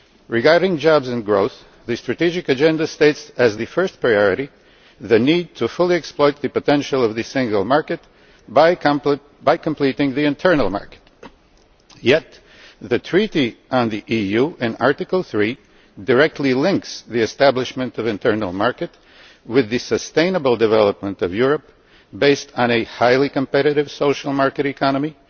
Regarding jobs and growth, the strategic agenda states as the first priority the need to fully exploit the potential of the single market by completing the internal market, yet Article 3 of the Treaty on European Union directly links the establishment of the internal market with the sustainable development of Europe, based on a highly competitive social market economy